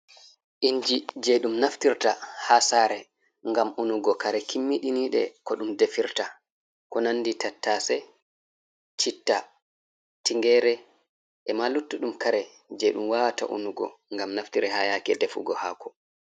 Inji je ɗum naftirta ha sare ngam unugo kare kimmiɗinide ko ɗum defirta, ko nandi tattase citta tinyere ema luttuɗum kare je ɗum wawata unugo ngam naftire ha yake defugo hako.